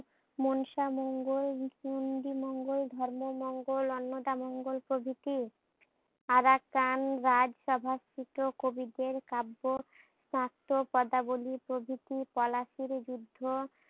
মনসা মঙ্গল, হিন্দু মঙ্গল, ধর্ম মঙ্গল, অন্নদা মঙ্গল প্রভৃতি। আরাকান রাজসভা থেকেও কবিদের কাব্য, নাট্য, পদাবলী প্রভৃতি পলাশীর যুদ্ধ